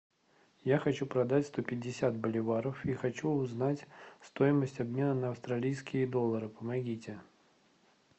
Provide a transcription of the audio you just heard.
я хочу продать сто пятьдесят боливаров и хочу узнать стоимость обмена на австралийские доллары помогите